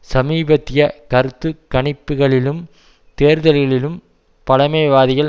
சமீபத்திய கருத்து கணிப்புக்களிலும் தேர்தல்களிலும் பழமைவாதிகள்